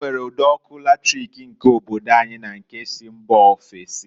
E nwere ụd'ọkụ latric nke obodo anyi na nke si mba ofesi.